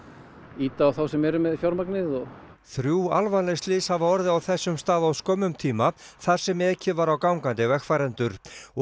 ýta á þá sem eru með fjármagnið þrjú alvarleg slys hafa orðið á þessum stað á skömmum tíma þar sem ekið var á gangandi vegfarendur